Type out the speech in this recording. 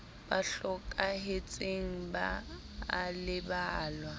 ba hlokahetseng ba a lebalwa